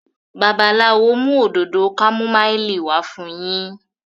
Babalawo mú Òdòdó kámúmáìlì wá fún yín.